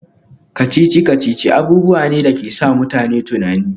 Kacici-kacici abubuwa ne da ke sa mutane tunani